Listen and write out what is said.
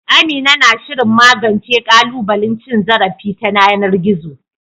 Amina na shirin magance ƙalubalen cin zarafi ta yanar gizo.